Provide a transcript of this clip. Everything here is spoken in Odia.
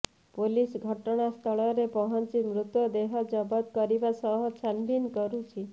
ପୋଲିସ ଘଟଣାସ୍ଥଳରେ ପହଞ୍ଚି ମୃତଦେହ ଜବତ କରିବା ସହ ଛାନଭିନ୍ କରୁଛି